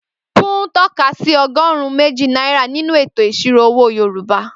Pú́n tọ́ka sí ọgọ́rùn-ún méjì náírà nínú ètò ìṣirò owó Yorùbá.